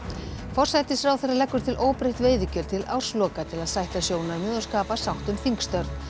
forsætisráðherra leggur til óbreytt veiðigjöld til ársloka til að sætta sjónarmið og skapa sátt um þingstörf